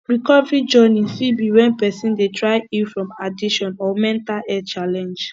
recovery journey fit be when person dey try heal from addiction or mental health challenge